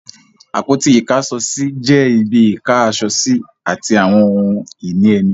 Àpótí Ìkáṣọsí jẹ́ ibi Ìká aṣọ sí àti àwọn ohun ìní ẹni